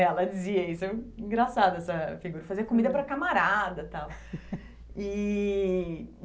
Ela dizia isso, engraçada essa figura, fazia comida para a camarada tal. E